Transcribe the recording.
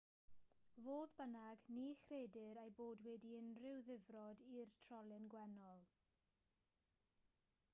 fodd bynnag ni chredir eu bod wedi unrhyw ddifrod i'r trolyn gwennol